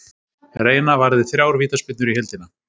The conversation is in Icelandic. Reina varði þrjár vítaspyrnur í heildina.